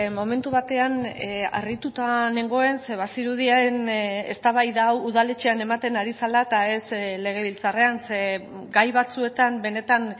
momentu batean harrituta nengoen ze bazirudien eztabaida hau udaletxean ematen ari zela eta ez legebiltzarrean ze gai batzuetan benetan